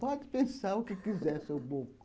Pode pensar o que quiser, seu bobo.